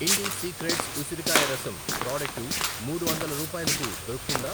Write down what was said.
ఇండి secrets ఉసిరికాయ రసం product మూడు వందలు రూపాయలకు దొరుకుతుందా?